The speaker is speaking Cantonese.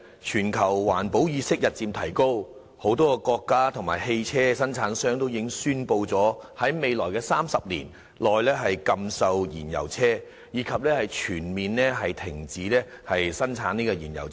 全球環保意識日漸提高，多個國家及汽車生產商已宣布在未來30年內禁售燃油車，以及全面停止生產燃油車。